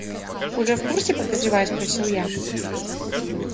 уже в курсе подозревая спросил я